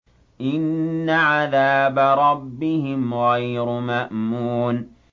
إِنَّ عَذَابَ رَبِّهِمْ غَيْرُ مَأْمُونٍ